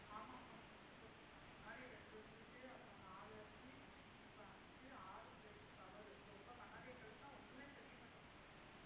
ஆமா, ஆமா specs உ போட்டிருக்காங்க. முன்னாடி ரெண்டு இருந்துச்சு, அப்புறம் நாலு ஆச்சு, இப்ப அஞ்சு, ஆறுக்கு போயிடுச்சு power உ ரொம்ப கண்ணாடியைக் கழட்டினா ஒண்ணுமே தெரிய மாட்டேங்குது.